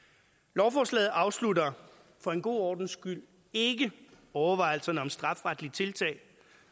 lovforslaget afslutter for en god ordens skyld ikke overvejelserne om strafferetlige tiltag